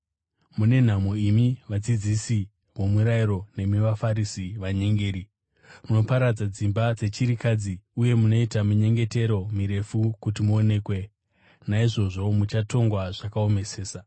Mune nhamo imi vadzidzisi vomurayiro nemi vaFarisi, vanyengeri! Munoparadza dzimba dzechirikadzi, uye munoita minyengetero mirefu kuti muonekwe. Naizvozvo muchatongwa zvakaomesesa.